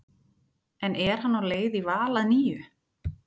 En er hann á leið í Val að nýju?